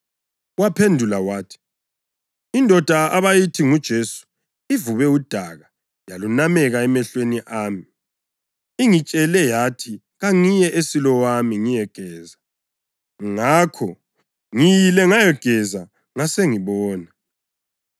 Waphendula wathi, “Indoda abayithi nguJesu ivube udaka yalunameka emehlweni ami. Ingitshele yathi kangiye eSilowami ngiyegeza. Ngakho ngiyile ngayageza, ngasengibona.”